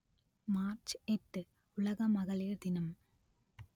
March எட்டு உலக மகளிர் தினம்